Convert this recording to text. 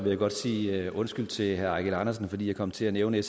jeg godt sige undskyld til herre eigil andersen fordi jeg kom til at nævne